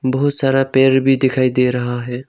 बहुत सारा पेड़ भी दिखाई दे रहा है।